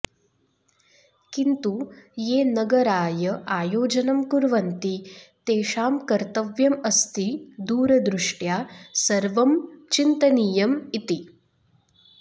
किन्तु ये नगराय आयोजनं कुर्वन्ति तेषां कर्तव्यम् अस्ति दूरदृष्ट्या सर्वं चिन्तनीयम् इति